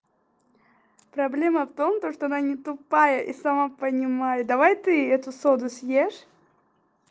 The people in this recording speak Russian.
проблема в том то что она не тупая и сама понимаю давай ты эту соду съешь